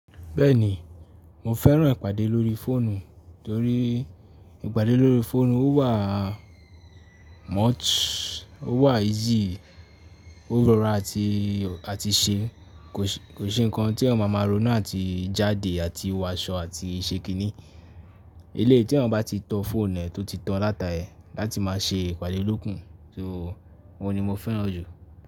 Bẹ́ẹ̀ni, mo fẹ́ràn ìpàdé lórí fóònù torí ìpàdé lórí fóònù ó wà much, ó wà easy, ó rọra àti, àti ṣe. Kò ṣe, kò ṣe nǹkan tí èèyàn máa máa ronú àti jáde àti wọ aṣọ àti ṣekini. Eléyìí tí èèyàn bá ti tan fóònù ẹ tó ti tàn dáta ẹ̀ láti máa ṣe ìpàdé loku to ohun ni mo fẹ́ràn jù.